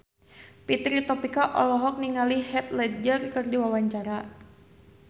Fitri Tropika olohok ningali Heath Ledger keur diwawancara